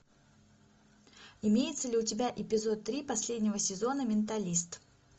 имеется ли у тебя эпизод три последнего сезона менталист